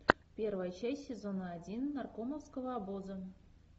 первая часть сезона один наркомовского обоза